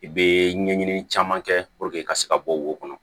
I bɛ ɲɛɲini caman kɛ i ka se ka bɔ wo kɔnɔ